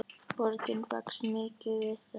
Borgin vex mikið við það.